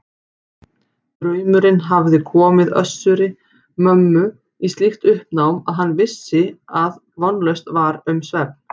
Draumurinn hafði komið Össuri-Mömmu í slíkt uppnám að hann vissi að vonlaust var um svefn.